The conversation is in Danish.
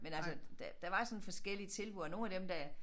Men altså der der var sådan forskellige tilbud og nogle af dem der